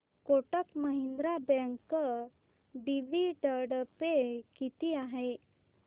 Kotak Mahindra bank dividend pay किती आहे